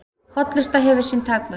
Hollusta hefur sín takmörk